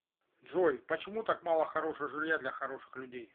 джой почему так мало хорошего жилья для хороших людей